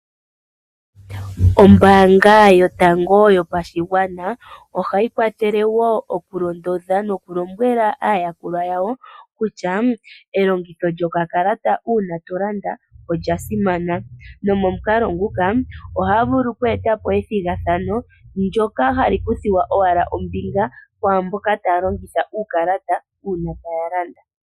Ombaanga yotango yopashigwana ohayi kwathele wo okulondodha nokulombwela aayakulwa yawo kutya elongitho lyokakala uuna to landa olya simana. Nomomukalo nguka ohaa vulu oku eta po ethigathano ndyoka hali kuthwa owala ombinga kwaa mboka taya longitha uukalata wawo wombaanga uuna taya landa.